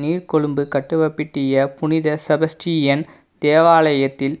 நீர்கொழும்பு கட்டுவப்பிட்டிய புனித செபஸ்ரியன் தேவாலயத்தில்